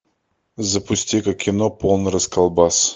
запусти ка кино полный расколбас